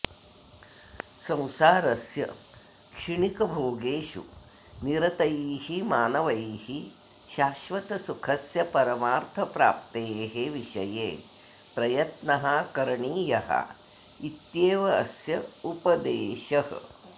संसारस्य क्षिणिकभोगेषु निरतैः मानवैः शाश्वतसुखस्य परमार्थप्राप्तेः विषये प्रयत्नः करणीयः इत्येव अस्य उपदेशः